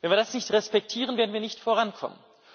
Wenn wir das nicht respektieren, werden wir nicht vorankommen.